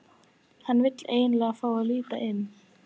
Hann vill endilega fá að líta inn.